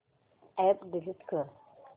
app delete कर